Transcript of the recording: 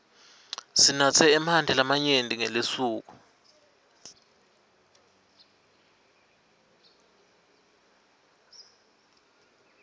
sinatse emanti lamanyenti ngelisuku